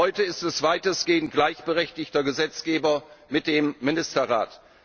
heute ist es weitestgehend gleichberechtigter Gesetzgeber mit dem Ministerrat.